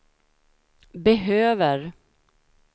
behöver